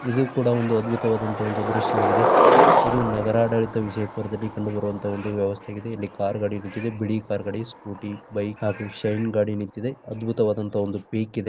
ಇದು ಕೂಡ ಒಂದು ಅದ್ಬುತ ವದ ದೃಶ್ಯ ವಾಗಿದೆ ಇದು ನಗರ ಬಿಜಾಪುರದಲ್ಲಿ ಕಂಡುಬರುಹ ವೆವಸ್ತೆ ಆಗಿದೆ ಕಾರ್ ಗಡಿ ನಿಂತಿದೆ ಬೇಲಿ ಸ್ಕೂಟಿ ಬೈಕ್ ಹಾಗು ಶೇರಿಂಗ್ ಗಡಿ ನಿಂತಿದೆ ಅದ್ಬುತವಾದಂಥ ಪಿಚ್ ಇದು